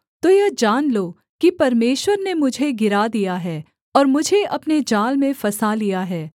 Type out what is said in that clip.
तो यह जान लो कि परमेश्वर ने मुझे गिरा दिया है और मुझे अपने जाल में फँसा लिया है